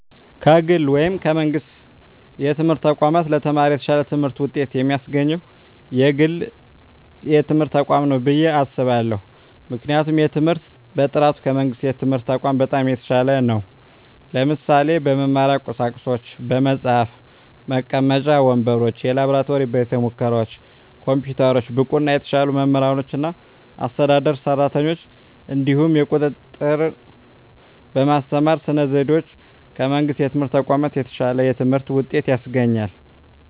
ከግል ወይም ከመንግሥት የትምህርት ተቋማት ለተማሪ የተሻለ ትምህርት ውጤት የሚያስገኘው የግል ትምህርት ተቋማት ነው ብየ አስባለሁ ምክንያቱም የትምህርት በጥራቱ ከመንግስት የትምህርት ተቋማት በጣም የተሻለ ነው ለምሳሌ - በመማሪያ ቁሳቁሶች በመፅሀፍ፣ መቀመጫ ወንበሮች፣ የላብራቶሪ ቤተሙከራዎች፣ ኮምፒውተሮች፣ ብቁና የተሻሉ መምህራኖችና አስተዳደር ሰራተኞች፣ እንዲሁም የቁጥጥ ርና በማስተማር ስነ ዘዴዎች ከመንግስት የትምህርት ተቋማት የተሻለ የትምህርት ውጤት ያስገኛል።